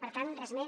per tant res més